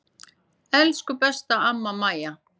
Elsku besta amma Maja.